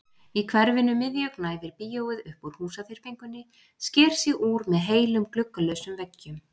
Í hverfinu miðju gnæfir bíóið upp úr húsaþyrpingunni, sker sig úr með heilum gluggalausum veggjum.